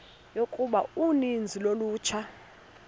yokuba uninzi lolutsha